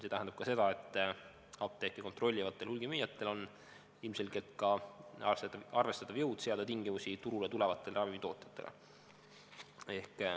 See tähendab ka seda, et apteeke kontrollivatel hulgimüüjatel on ilmselgelt arvestatav jõud seada tingimusi turule tulevatele ravimitootjatele.